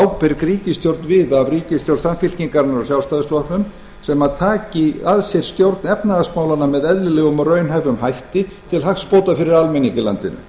ábyrg ríkisstjórn við af ríkisstjórn samfylkingarinnar og sjálfstæðisflokksins sem taki að sér stjórn efnahagsmálanna með eðlilegum og raunhæfum hætti til hagsbóta fyrir almenning í landinu